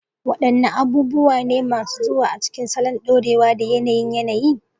Wadanne abubuwa ne masu zuwa a cikin salon dorewa da yanayin yanayi?